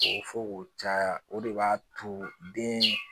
O fɔ k'o caya o de b'a to den